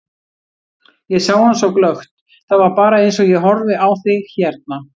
Ég sá hann svo glöggt, það var bara eins og ég horfi á þig hérna.